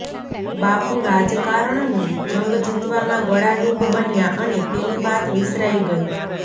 બાપુ રાજકારણનો જંગ જીતવામાં ગળાડૂબ બન્યા અને પેલી વાત વિસરાઈ ગઈ